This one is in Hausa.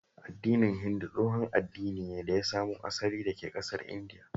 Addinin Hindu tashon addini ne da ya samo asali daka ƙasar Indiya